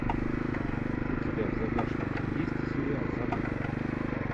у тебя в загашнике есть сериал забытый